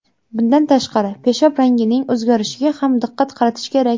Bundan tashqari, peshob rangining o‘zgarishiga ham diqqat qaratish kerak.